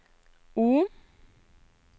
O